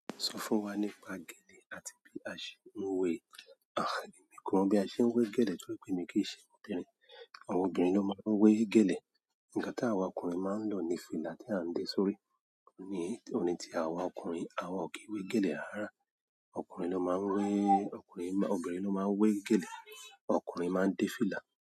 Sọ fún wa nípa gèlè àti bí a ṣe ń wé è? Àh, èmi ko mọ bí a ṣe ń wé gèlè torípé mi kì í ṣe obìnrin, àwọn obìnrin ló máa ń wé gèlè. Ǹ ga táwọn ọkùnrin máa ń lò ni fìlà tí à ń dé sórí, ní òní tí àwa ọkùnrin, àwa ò kí wé gèlè rárá. Ọkùnrin ló máa ń wé, ọkùnrin, obìnrin ló máa ń wé gèlè, ọkùnrin máa ń dé fìlà.